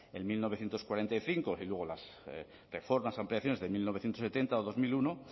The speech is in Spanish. en mil novecientos cuarenta y cinco y luego las reformas o ampliaciones de mil novecientos setenta o dos mil uno